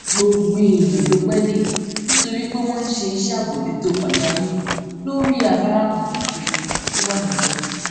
gbogbo èèyàn ló pé dé nítorí pé wón ń ṣe iṣé àbójútó pàjáwìrì lórí afárá kan ṣoṣo tó wà níbè